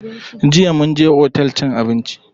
Jiya mun je otel cin abinci.